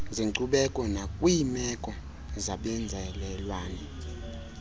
zenkcubeko nakwiimeko zabenzalelwane